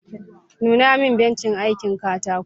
Nuna min bencin aikin katako